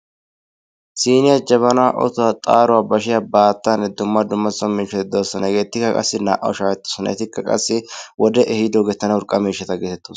Siiniya, jabanaa, otuwa, zaaruwa, bashiya, baattaanne dumma dumma so miishshati de'oosona. Hegeetikka qassi naa'awu shaahettoosona etikka qassi wodee ehiido urqqa miishshata geetettoosona.